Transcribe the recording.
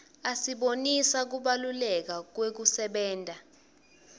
asibonisa kubalaleka kwekusebenta